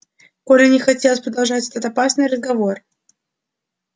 коле не хотелось продолжать этот опасный разговор